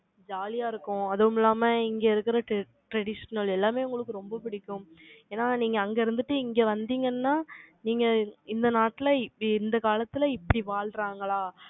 jolly ஆ இருக்கும். அதுவும் இல்லாம, இங்கே இருக்கிற traditional எல்லாமே, உங்களுக்கு ரொம்ப பிடிக்கும் ஏன்னா, நீங்க அங்க இருந்துட்டு, இங்க வந்தீங்கன்னா, நீங்க, இந்த நாட்டுல, இப்படி, இந்த காலத்துல, இப்படி வாழ்றாங்களா?